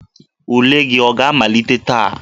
Ule gị ọ ga-amalite taa?